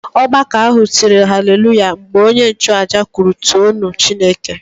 Ọgbakọ ahụ tịrị Hallelujah! mgbe onye nchuaja kwuru too nụ Chineke